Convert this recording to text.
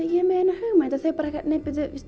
ég er með eina hugmynd en þau bara nei